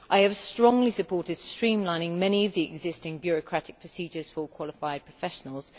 I have strongly supported streamlining many of the existing bureaucratic procedures for qualified professionals.